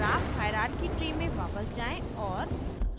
graph hierarchy tree में वापस जाएँ और